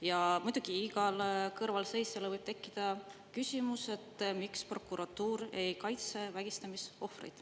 Ja muidugi igal kõrvalseisjal võib tekkida küsimus, miks prokuratuur ei kaitse vägistamisohvreid.